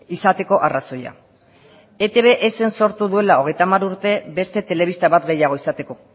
izateko arrazoia etb ez zen sortu duela hogeita hamar urte beste telebista bat gehiago izateko